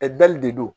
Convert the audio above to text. Ɛ dali de do